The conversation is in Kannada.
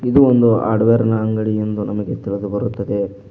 ಇದು ಒಂದು ಹಾರ್ಡ್ವೇರ್ ನ ಅಂಗಡಿ ಎಂದು ನಮಗೆ ತಿಳಿದು ಬರುತ್ತದೆ.